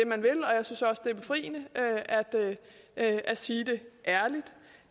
er befriende at sige det ærligt